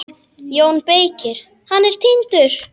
JÓN BEYKIR: Hann er týndur!